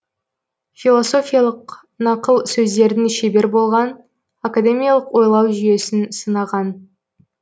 философиялық нақыл сөздердің шебер болған академиялық ойлау жүйесін сынаған